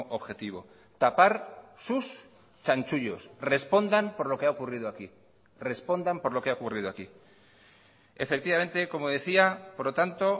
objetivo tapar sus chanchullos respondan por lo que ha ocurrido aquí respondan por lo que ha ocurrido aquí efectivamente como decía por lo tanto